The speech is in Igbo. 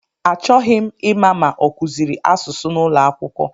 Achọghị ịma ma ọ kụziri asụsụ n'ụlọakwụkwọ